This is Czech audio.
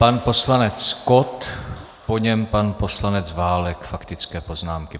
Pan poslanec Kott, po něm pan poslanec Válek, faktické poznámky.